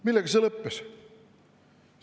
Millega see lõppes?